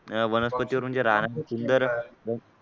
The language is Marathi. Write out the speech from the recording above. अह वनस्पतीवर म्हणजे रानातील सुंदर